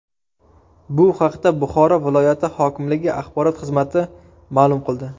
Bu haqda Buxoro viloyati hokimligi axborot xizmati ma’lum qildi .